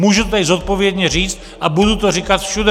Můžu to tady zodpovědně říci a budu to říkat všude.